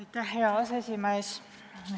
Aitäh, hea aseesimees!